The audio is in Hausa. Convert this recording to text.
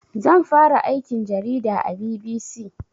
Zan fara aikin jarida a BBC